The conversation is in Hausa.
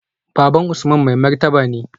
Baban Usman mai martaba ne